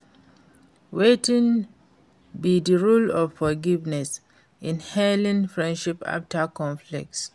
wetin be di role of forgiveness in healing friendship after conflict?